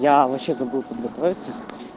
я вообще забыл подготовиться